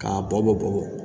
K'a bɔ bɔ bugɔ